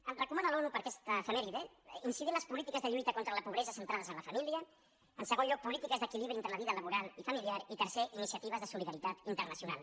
ens recomana l’onu per a aquesta efemèride incidir en les polítiques de lluita contra la pobresa centrades en la família en segon lloc polítiques d’equilibri entre la vida laboral i familiar i tercer iniciatives de solidaritat internacional